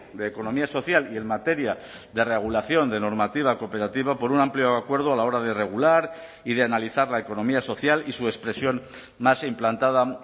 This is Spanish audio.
de economía social y en materia de regulación de normativa cooperativa por un amplio acuerdo a la hora de regular y de analizar la economía social y su expresión más implantada